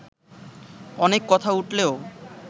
অনেক কথা উঠলেও